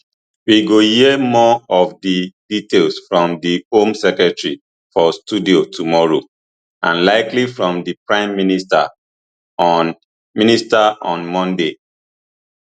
we go hear more of di details from di home secretary for studio tomorrow and likely from di prime minister on minister on monday